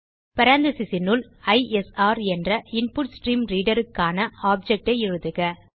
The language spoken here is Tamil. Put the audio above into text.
parenthesesனுள் ஐஎஸ்ஆர் என்ற இன்புட்ஸ்ட்ரீம்ரீடர் க்கான ஆப்ஜெக்ட் ஐ எழுதுக